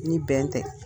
Ni bɛn tɛ